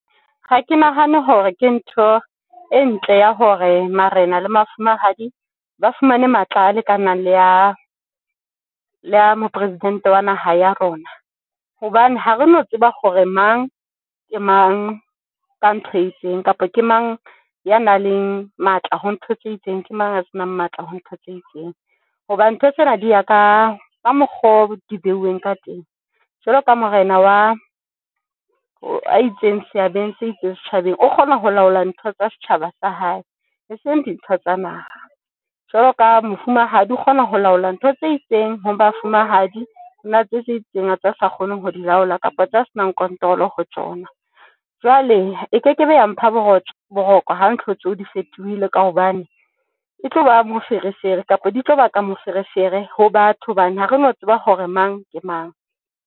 Ha ke nahane hore ke ntho e ntle ya hore marena le mafumahadi ba fumane matla a lekanang le ya mopresidente wa naha ya rona. Hobane ha re no tseba hore mang ke mang ka ntho e itseng, kapa ke mang ya nang le matla ho ntho tse itseng. Ke mang a senang matla ho ntho tse itseng hobane ntho tsena di ya ka ka mokgo di behuweng ka teng, Jwalo ka morena wa a itseng seabo se itseng setjhabeng o kgona ho laola ntho tsa setjhaba sa hae, e seng dintho tsa naha jwalo ka mofumahadi o kgona ho laola ntho tse itseng ho mafumahadi ona tse tse itseng tsa sa kgoneng ho di laola kapa tjhe. Ha se nang control ho tsona jwale ekekebe ya mpha boroko ha ntho tseo di fetohile ka hobane e tloba moferefere, kapa di tlo baka moferefere ho batho hobane ha re no tseba hore mang ke mang.